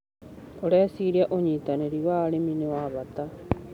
ũreciria ũnyitanĩrĩ wa arĩmi nĩ wa bata.